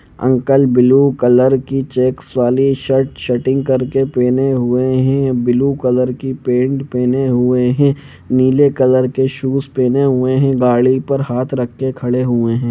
Uncle blue colour की checks की वाली शर्ट शर्टिंग करके पहने हुवे हे ब्लू कलर की पेंट पहने हुवे हे नीले कलर के शूज पहेने हुवे हे गाड़ी पर हाथ रख के खड़े हुवे हे।